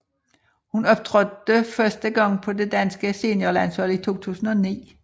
Hun optrådte første gang på det danske seniorlandshold i 2009